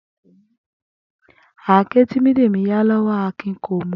Àáké tí Bídèmí yá ló̩wó̩ Akìn kò mú